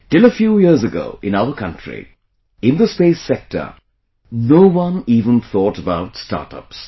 Till a few years ago, in our country, in the space sector, no one even thought about startups